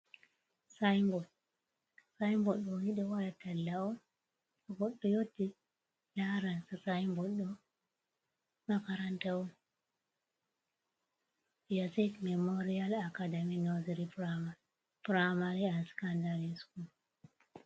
Sing bod ɗoni ɗou waɗa talla on tou goɗɗo yotti laran sing bod ɗo makaranta on, yazid memorial academy nursery primary and scandry school.